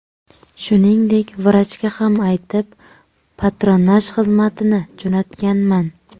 Shuningdek, vrachga ham aytib, patronaj xizmatini jo‘natganman.